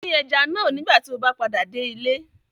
Dín ẹja náà nígbà tí o bá padà dé ilé